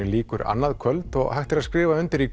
lýkur annað kvöld og hægt er að skrifa undir í